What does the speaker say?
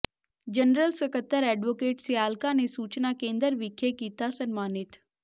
general ਸਕੱਤਰ advocate Sialka ਨੇ ਸੂਚਨਾ ਕੇਂਦਰ ਵਿਖੇ ਕੀਤਾ ਸਨਮਾਨਿਤ